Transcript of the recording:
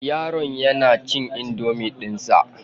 Yaron yana cin indomie dinsa.